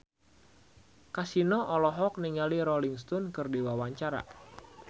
Kasino olohok ningali Rolling Stone keur diwawancara